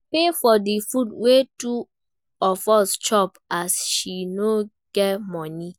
I pay for di food wey two of us chop as she no get moni.